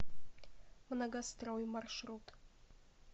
многострой маршрут